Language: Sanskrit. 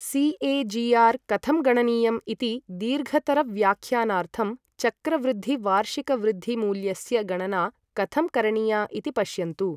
सि.ए.जि.आर् कथं गणनीयम् इति दीर्घतरव्याख्यानार्थं चक्रवृद्धिवार्षिकवृद्धिमूल्यस्य गणना कथं करणीया इति पश्यन्तु।